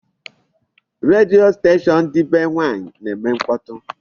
Redio station dị be nwaanyị na-eme mkpọtụ.